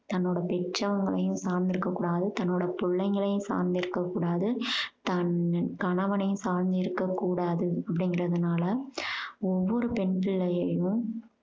தன்னோட பெற்றவங்களையும் சார்ந்திருக்க கூடாது தன்னோட பிள்ளைங்களையும் சார்ந்திருக்க கூடாது தன் கணவனையும் சார்ந்திருக்க கூடாது அப்படீங்கறதுனால ஒவ்வொரு பெண் பிள்ளையையும்